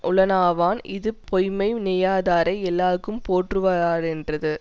உளனாவான் இது பொய்யை நினையாதாரை எல்லாரும் போற்றுவாரென்றது